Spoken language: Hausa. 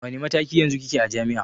A wanne mataki yanzu kike a jami'a?